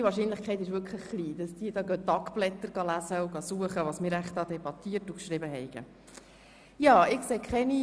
Die Wahrscheinlichkeit, dass die National- und Ständeräte das «Tagblatt des Grossen Rats» lesen und darin suchen, was wir hier debattiert haben, ist tatsächlich gering.